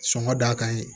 Sɔngɔ dakan ye